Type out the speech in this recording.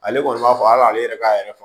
Ale kɔni b'a fɔ hali ale yɛrɛ k'a yɛrɛ fɔ